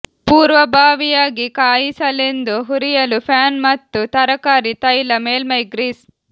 ಪೂರ್ವಭಾವಿಯಾಗಿ ಕಾಯಿಸಲೆಂದು ಹುರಿಯಲು ಪ್ಯಾನ್ ಮತ್ತು ತರಕಾರಿ ತೈಲ ಮೇಲ್ಮೈ ಗ್ರೀಸ್